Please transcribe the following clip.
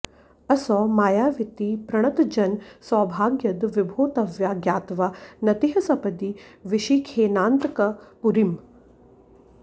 असौ मायावीति प्रणतजनसौभाग्यद विभो त्वया ज्ञात्वा नतिः सपदि विशिखेनान्तकपुरीम्